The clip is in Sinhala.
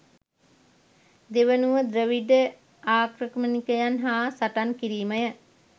දෙවනුව ද්‍රවිඩ ආක්‍රමණිකයන් හා සටන් කිරීමය.